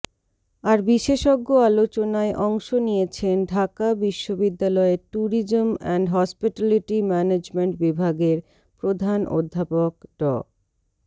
আর বিশেষজ্ঞ আলোচনায় অংশ নিয়েছেন ঢাকা বিশ্ববিদ্যালয়ের ট্যুরিজম অ্যান্ড হসপিটালিটি ম্যানেজমেন্ট বিভাগের প্রধান অধ্যাপক ড